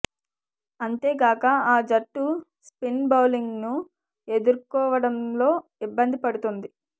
అంతే గాక ఆ జట్టు స్పిన్ బౌలింగ్ను ఎదుర్కో వడంలో ఇబ్బంది పడు తోంది